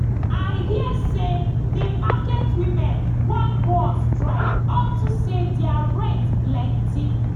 i hear say the market women wan go on strike unto say their rent plenty